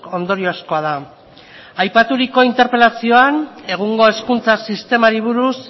ondoriozkoa da aipaturiko interpelazioan egungo hezkuntza sistemari buruz